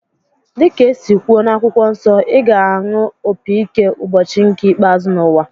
Dịka esi kwuo n'akwụkwọ nsọ, ị ga-anụ opi ike ụbọchị nke ikpeazụ n'ụwa